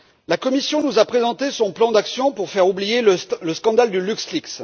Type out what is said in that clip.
La Commission nous a présenté son plan d'action pour faire oublier le scandale de LuxLeaks.